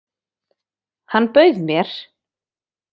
Hann bauð mér!